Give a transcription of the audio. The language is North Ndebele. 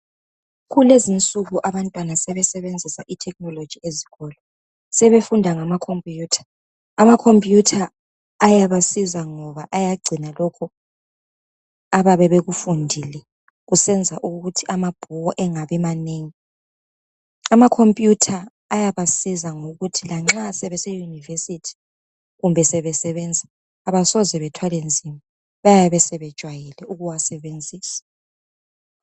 Kulezi nsuku abantwana sebesebenzisa ithekhinoloji ezikolo sebefunda ngama khomputha, amakhomputha ayabasiza ngoba ayagcina lokho abayabe bekufundile kusenza ukuthi amabhuku engabi manengi amakhomputha ayaba siza ngokuthi lanxa sebese univesithi kumbe sebesebenza abasoze bethwale nzima bayabe sebejayele ukuwasebenzisa